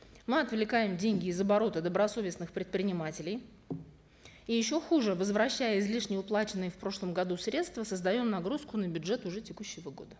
мы отвлекаем деньги из оборота добросовестных предпринимателей и еще хуже возвращая излишне уплаченные в прошлом году средства создаем нагрузку на бюджет уже текущего года